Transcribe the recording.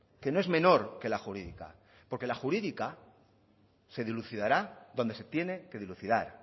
que no es menor que la jurídica porque la jurídica se dilucidará donde se tiene que dilucidar